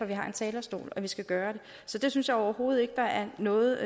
vi har en talerstol at vi skal gøre det så det synes jeg overhovedet ikke der er noget